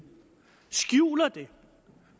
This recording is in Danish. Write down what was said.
skjuler det